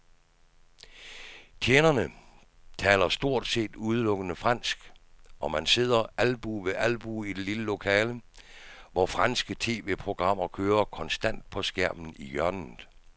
Tjenerne taler stort set udelukkende fransk, og man sidder albue ved albue i det lille lokale, hvor franske tv-programmer kører konstant på skærmen i hjørnet.